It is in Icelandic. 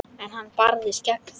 En hann barðist gegn þeim.